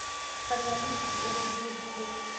Kariandusi ĩrĩ Giligili